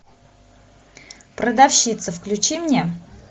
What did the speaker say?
продавщица включи мне